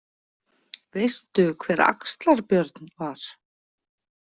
Veistu hver Axlar- Björn var?